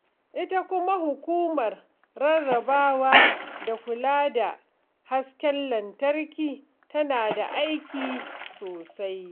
Ita kuma hukumar rarrabawa da kula da hasken lantarki tana da aiki sosai.